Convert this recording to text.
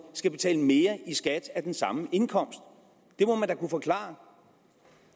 skal betale mere i skat af den samme indkomst det må man da kunne forklare